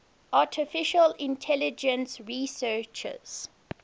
artificial intelligence researchers